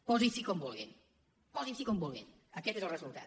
posi s’hi com vulgui posin s’hi com vulguin aquest és el resultat